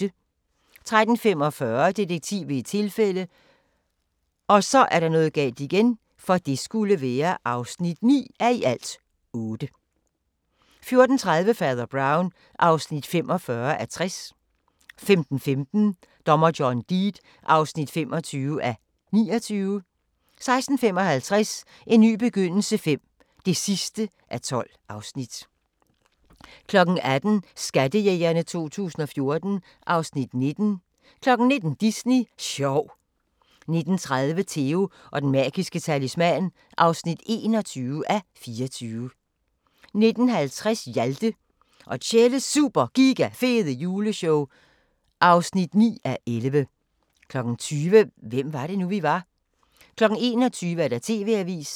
13:45: Detektiv ved et tilfælde (9:8) 14:30: Fader Brown (45:60) 15:15: Dommer John Deed (25:29) 16:55: En ny begyndelse V (12:12) 18:00: Skattejægerne 2014 (Afs. 19) 19:00: Disney sjov 19:30: Theo & den magiske talisman (21:24) 19:50: Hjalte og Tjelles Super Giga Fede Juleshow (9:11) 20:00: Hvem var det nu, vi var? 21:00: TV-avisen